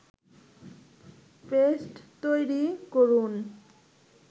paste তৈরি করুন